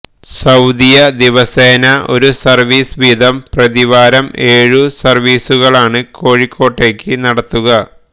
Saudia ദിവസേന ഒരു service വീതം പ്രതിവാരം ഏഴു സർവീസുകളാണ് കോഴിക്കോട്ടേക്ക് നടത്തുക